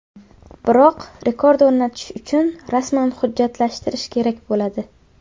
Biroq rekord o‘rnatish uchun rasman hujjatlashtirish kerak bo‘ladi.